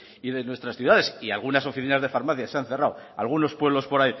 y de nuestras ciudades y algunas oficinas de farmacia se han cerrado algunos pueblos por